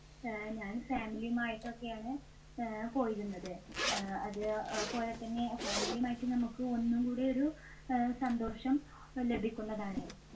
ആഹ് ഞാൻ family യുമായിട്ടൊക്കെയാണ് അഹ് പോയിരുന്നത്. അഹ് അതേപോലെതന്നെ family യുമായിട്ട് നമുക്ക് ഒന്നും കൂടെ ഒരു അഹ് സന്തോഷം ലഭിക്കുന്നതാണ്.